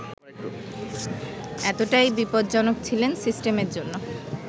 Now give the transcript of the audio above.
এতটাই বিপজ্জনক ছিলেন সিস্টেমের জন্য